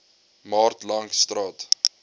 maart langs st